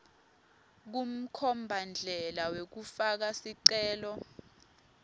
kumkhombandlela wekufaka sicelo